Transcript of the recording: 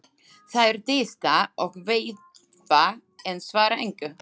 Þær tísta og veifa en svara engu.